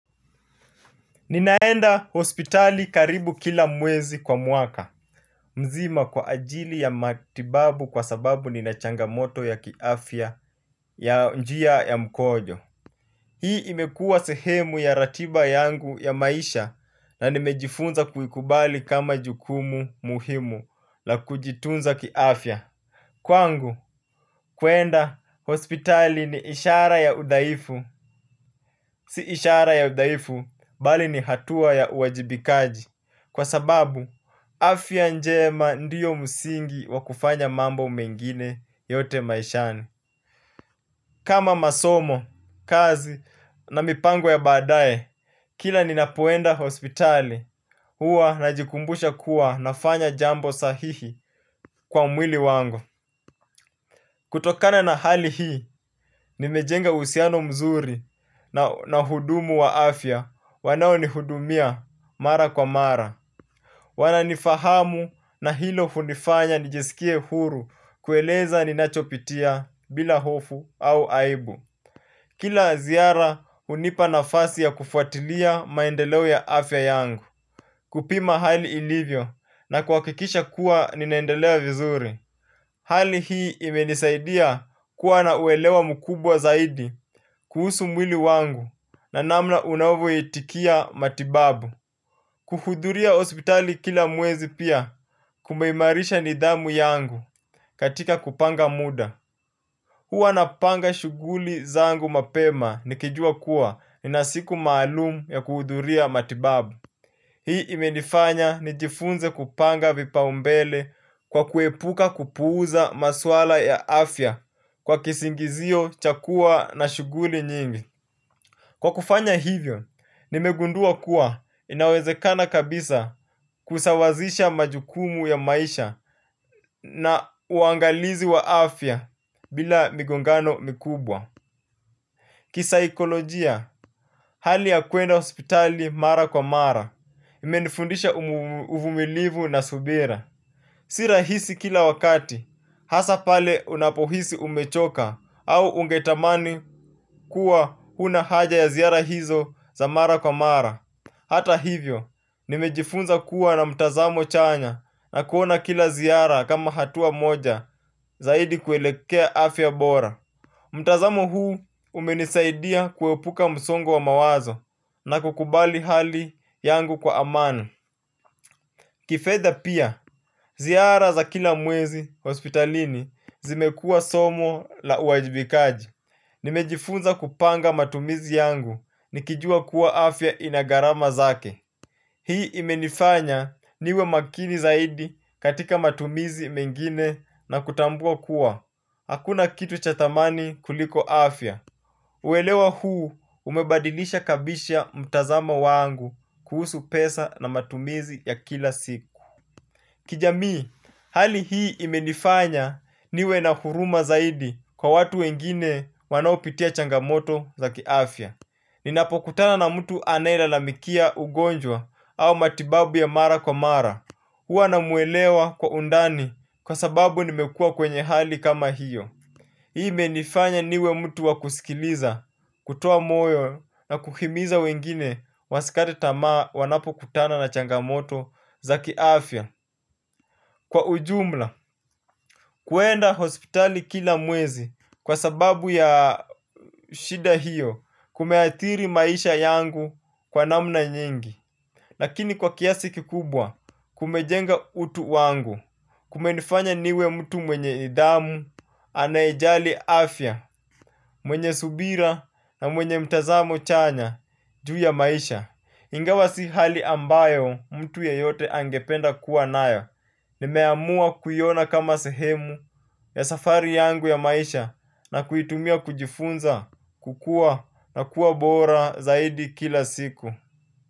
Ninaenda hospitali karibu kila mwezi kwa mwaka. Mzima kwa ajili ya matibabu kwa sababu nina changamoto ya kiafya, ya njia ya mkojo. Hii imekuwa sehemu ya ratiba yangu ya maisha. Na nimejifunza kuikubali kama jukumu muhimu la kujitunza kiafya. Kwangu, kuenda hospitali ni ishara ya udhaifu. Si ishara ya udhaifu, bali ni hatua ya uwajibikaji. Kwa sababu, afya njema ndio msingi wakufanya mambo mengine yote maishani. Kama masomo, kazi na mipango ya baadae, kila ninapoenda hospitali, huwa najikumbusha kuwa nafanya jambo sahihi kwa mwili wangu. Kutokana na hali hii, nimejenga uhusiano mzuri na wahudumu wa afya, wanao nihudumia mara kwa mara. Wana nifahamu na hilo hunifanya nijiskie huru kueleza ninachopitia bila hofu au aibu. Kila ziara hunipa nafasi ya kufuatilia maendeleo ya afya yangu. Kupima hali ilivyo na kuhakikisha kuwa ninaendelea vizuri. Hali hii imenisaidia kuwa na uelewa mkubwa zaidi. Kuhusu mwili wangu na namna unavyo itikia matibabu. Kuhudhuria hospitali kila mwezi pia, kumeimarisha nidhamu yangu katika kupanga muda. Huwa napanga shughuli zangu mapema nikijua kuwa nina siku maalumu ya kuhudhuria matibabu. Hii imenifanya nijifunze kupanga vipau mbele kwa kuepuka kupuuza maswala ya afya, kwa kisingizio cha kuwa na shughuli nyingi. Kwa kufanya hivyo, nimegundua kuwa inawezekana kabisa kusawazisha majukumu ya maisha na uangalizi wa afya bila migongano mikubwa. Kisaikolojia, hali ya kuenda hospitali mara kwa mara, imenifundisha uvumilivu na subira. Si rahisi kila wakati, hasa pale unapohisi umechoka au ungetamani kuwa huna haja ya ziara hizo za mara kwa mara. Hata hivyo, nimejifunza kuwa na mtazamo chanya na kuona kila ziara kama hatua moja zaidi kuelekea afya bora. Mtazamo huu umenisaidia kuepuka msongo wa mawazo na kukubali hali yangu kwa amani. Kifedha pia, ziara za kila mwezi hospitalini, zimekuwa somo la uwajibikaji. Nimejifunza kupanga matumizi yangu, nikijua kuwa afya ina gharama zake. Hii imenifanya niwe makini zaidi katika matumizi mengine na kutambua kuwa. Hakuna kitu cha thamani kuliko afya. Uelewa huu, umebadilisha kabisa mtazamo wangu kuhusu pesa na matumizi ya kila siku. Kijamii, hali hii imenifanya niwe na huruma zaidi kwa watu wengine wanao pitia changamoto za kiafya. Ninapo kutana na mtu anae lalamikia ugonjwa au matibabu ya mara kwa mara. Huwa namwelewa kwa undani, kwa sababu nimekuwa kwenye hali kama hiyo. Hii imenifanya niwe mtu wa kusikiliza, kutoa moyo na kuhimiza wengine wasikate tamaa wanapokutana na changamoto za kiafya. Kwa ujumla, kuenda hospitali kila mwezi kwa sababu ya shida hiyo, kumeathiri maisha yangu kwa namna nyingi. Lakini kwa kiasi kikubwa kumejenga utu wangu. Kumenifanya niwe mtu mwenye nidhamu, anayejali afya. Mwenye subira na mwenye mtazamo chanya juu ya maisha. Ingawa si hali ambayo mtu yeyote angependa kuwa nayo. Nimeamua kuiona kama sehemu ya safari yangu ya maisha. Na kuitumia kujifunza, kukua na kuwa bora zaidi kila siku.